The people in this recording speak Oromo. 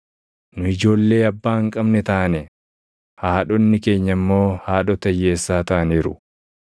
Nu ijoollee abbaa hin qabne taane; haadhonni keenya immoo // haadhota hiyyeessaa taʼaniiru.